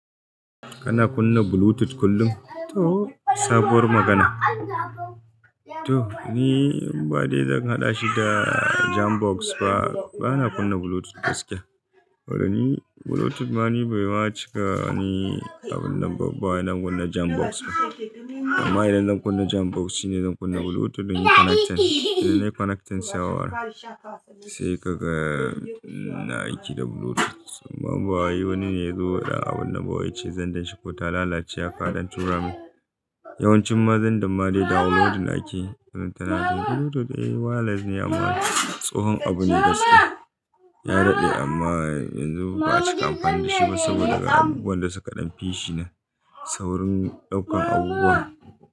Kana kunna Bluetooth kullum? To sabuwar magana. To ni inba dai zan haɗa shi da jam box fa, bana kunna Bluetooth gaskiya. Saboda ni Bluetooth ma ni bai ma cika ni abunan ba ina kunna jam box ba. Amma idan zan kunna jam box shine zan kunna Bluetooth inyi connecting, inyi connecting sawar. Sai kaga ina aiki da Bluetooth. Amma ba wai wani ne ya zo da abun na ba yace xendern shi ko ta lalace in donn tura min yawancin ma xender ma dai downloadin ake don tana jin Bluetooth eh wireless ne amma tsohon abu ne gaskiya. Ya daɗe amma yanzu ba a cika amfani da shi ba saboda daga abubuwan da suka ɗan fi shi na saurin ɗaukan abubuwa.